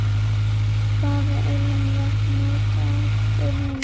Hvaða ilmvatn notarðu núna?